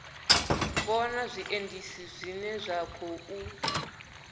vhona zwiendisi zwine zwa khou